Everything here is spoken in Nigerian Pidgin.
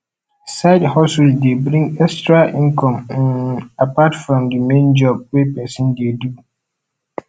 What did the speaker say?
sidehustle de bring etra income um apart from the main job wey persin de do